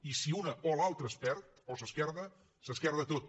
i si una o l’altra es perd o s’esquerda s’esquerda tot